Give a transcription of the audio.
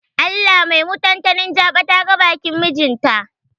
Allah mai mutantani jaɓa ta ga bakin mijin ta.